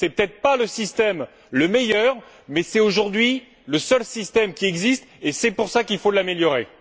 Ce n'est peut être pas le meilleur système mais c'est, aujourd'hui, le seul système qui existe et c'est pour cela qu'il faut l'améliorer.